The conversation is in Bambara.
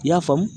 I y'a faamu